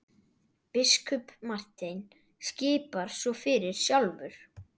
Biskup Marteinn skipar svo fyrir sjálfur!